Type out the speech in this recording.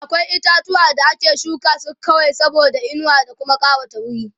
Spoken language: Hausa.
akwai itatuwa da ake shuka su kawai saboda inuwa da Kuma ƙawata wuri